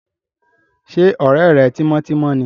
Ṣé ọ̀rẹ́ rẹ tímọ́tímọ́ ni?